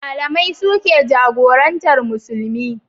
Malamai su ke jagorantar Musulmi.